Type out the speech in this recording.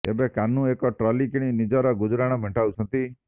ଏବେ କାହ୍ନୁ ଏକ ଟ୍ରଲି କିଣି ନିଜର ଗୁଜୁରାଣ ମେଣ୍ଟାଉଛନ୍ତି